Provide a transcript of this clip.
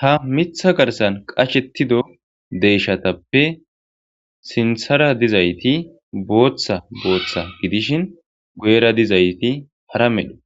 ha mitha garsan qashettido deyshatappe sinthara dizayti booththa booththa gidishin goera dizayti hara medha